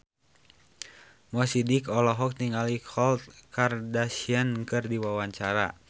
Mo Sidik olohok ningali Khloe Kardashian keur diwawancara